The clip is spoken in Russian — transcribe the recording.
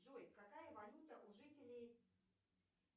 джой какая валюта у жителей